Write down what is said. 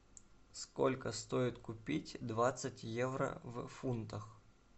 сколько стоит купить двадцать евро в фунтах